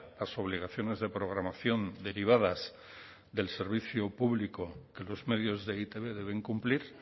las obligaciones de programación derivadas del servicio público que los medios de e i te be deben cumplir